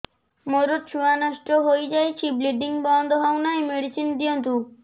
ମୋର ଛୁଆ ନଷ୍ଟ ହୋଇଯାଇଛି ବ୍ଲିଡ଼ିଙ୍ଗ ବନ୍ଦ ହଉନାହିଁ ମେଡିସିନ ଦିଅନ୍ତୁ